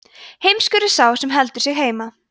heimskur er sá sem heldur sig heima